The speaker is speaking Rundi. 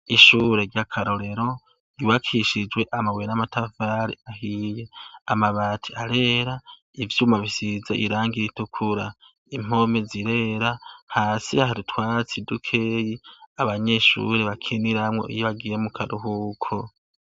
Ishuri ryakarorero ryubakishijwe amabuye n'amatafari ahiye amabati arera ivyuma bisize irangi ritukura impome zirera hasi hari utwatsi dukeya abanyeshuri bakiniramwo iyo bagiye mu karuhuko.